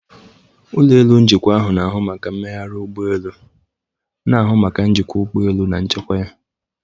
Ụlọ elu njikwa na ahụ maka mmegharị ụgbọ elu na-ihụ maka njikwa ụgbọ elu na nchekwa ya.